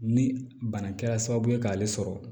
Ni bana kɛra sababu ye k'ale sɔrɔ